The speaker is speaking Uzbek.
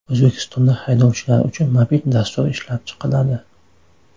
O‘zbekistonda haydovchilar uchun mobil dastur ishlab chiqiladi.